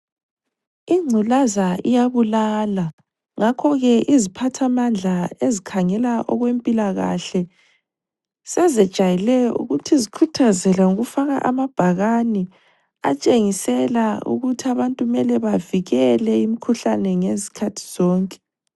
Ingculaza iyabulala ngakhoke iziphathamandla ezikhangela okwempilakahle sezejayele ukuthi zikhuthazele ngokufaka amabhakane atshengisela ukuthi abantu kumele bavikele imikhuhlane ngezikhathi zonke.